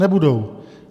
Nebudou.